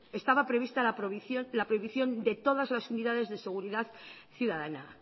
estaba prevista la prohibición de todas las unidades de seguridad ciudadana